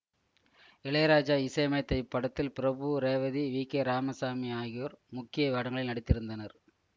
இளையராஜா இசையமைத்த இப்படத்தில் பிரபு ரேவதி வி கே ராமசாமி ஆகியோர் முக்கிய வேடங்களில் நடித்திருந்தனர்